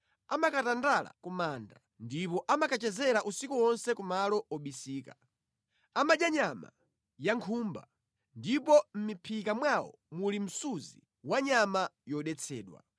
Amakatandala ku manda ndipo amakachezera usiku wonse kumalo obisika. Amadya nyama ya nkhumba, ndipo mʼmiphika mwawo muli msunzi wa nyama yodetsedwa.